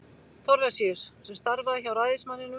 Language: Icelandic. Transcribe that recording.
Thorlacius, sem starfaði hjá ræðismanninum.